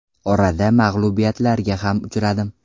Orada mag‘lubiyatlarga ham uchradim.